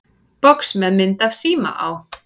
Box með mynd af síma á.